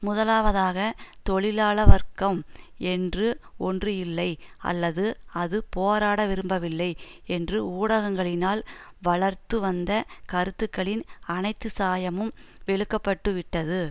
முதலாவதாக தொழிலாள வர்க்கம் என்று ஒன்று இல்லை அல்லது அது போராட விரும்பவில்லை என்று ஊடகங்களினால் வளர்த்து வந்த கருத்துக்களின் அனைத்து சாயமும் வெளுக்கப்பட்டுவிட்டது